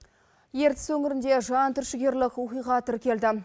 ертіс өңірінде жан түршігерлік оқиға тіркелді